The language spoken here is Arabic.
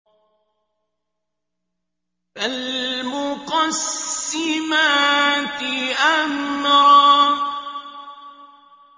فَالْمُقَسِّمَاتِ أَمْرًا